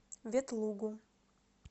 ветлугу